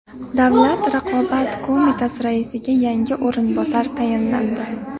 Davlat raqobat qo‘mitasi raisiga yangi o‘rinbosar tayinlandi.